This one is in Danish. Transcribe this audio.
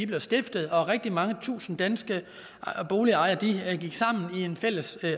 blev stiftet og rigtig mange tusind danske boligejere gik sammen i en fælles